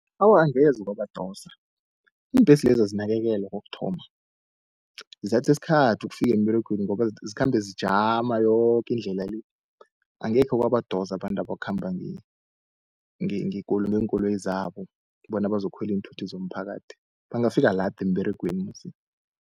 Awa, angeze kwabadosa iimbhesi lezi azinakekelwa kokuthoma, zithatha isikhathi ukufika emberegweni ngoba zikhambe zijama yoke indlela le. Angekhe kwabadosa abantu abakhamba ngeenkoloyi zabo, bona bazokukhwela iinthuthi zomphakathi, bangafika lada emberegweni musi.